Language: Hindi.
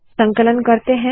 संकलन करते है